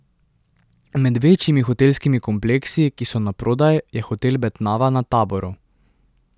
Med večjimi hotelskimi kompleksi, ki so naprodaj, je hotel Betnava na Taboru.